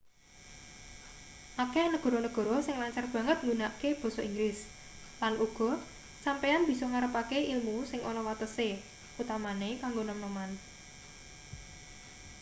akeh negara-negara sing lancar banget nggunakke basa inggris lan uga sampeyan bisa ngarepake ilmu sing ana watese utamane kanggo nom-noman